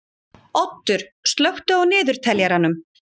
Oddur, slökktu á niðurteljaranum.